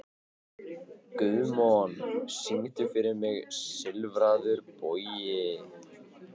Guðmon, syngdu fyrir mig „Silfraður bogi“.